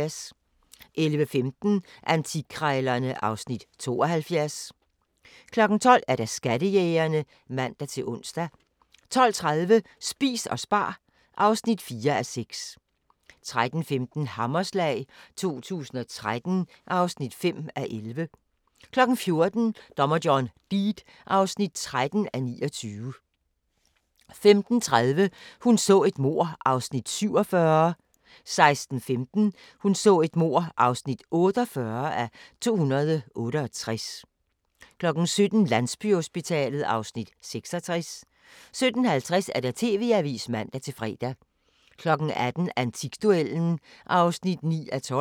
11:15: Antikkrejlerne (Afs. 72) 12:00: Skattejægerne (man-ons) 12:30: Spis og spar (4:6) 13:15: Hammerslag 2013 (5:11) 14:00: Dommer John Deed (13:29) 15:30: Hun så et mord (47:268) 16:15: Hun så et mord (48:268) 17:00: Landsbyhospitalet (Afs. 66) 17:50: TV-avisen (man-fre) 18:00: Antikduellen (9:12)